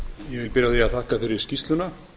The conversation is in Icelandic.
því að þakka fyrir skýrsluna